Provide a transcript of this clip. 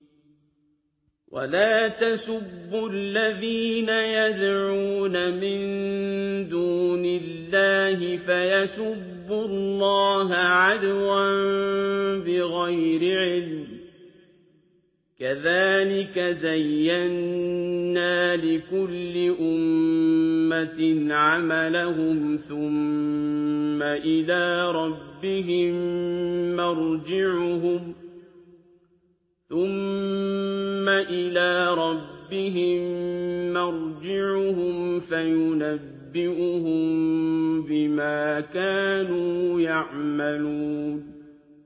وَلَا تَسُبُّوا الَّذِينَ يَدْعُونَ مِن دُونِ اللَّهِ فَيَسُبُّوا اللَّهَ عَدْوًا بِغَيْرِ عِلْمٍ ۗ كَذَٰلِكَ زَيَّنَّا لِكُلِّ أُمَّةٍ عَمَلَهُمْ ثُمَّ إِلَىٰ رَبِّهِم مَّرْجِعُهُمْ فَيُنَبِّئُهُم بِمَا كَانُوا يَعْمَلُونَ